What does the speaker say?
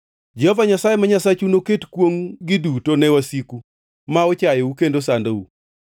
Jehova Nyasaye ma Nyasachu noket kwongʼ-gi duto ne wasiku ma ochayou kendo sandou.